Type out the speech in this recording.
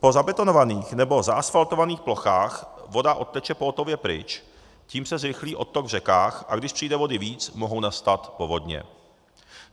Po zabetonovaných nebo zaasflatovaných plochách voda odteče pohotově pryč, tím se zrychlí odtok v řekách, a když přijde vody víc, mohou nastat povodně.